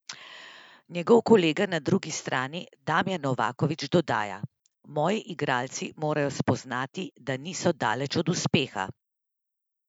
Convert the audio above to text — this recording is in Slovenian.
Njegov kolega na drugi strani Damjan Novaković dodaja: "Moji igralci morajo spoznati, da niso daleč od uspeha.